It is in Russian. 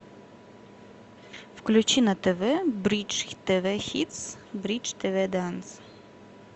включи на тв бридж тв хитс бридж тв данс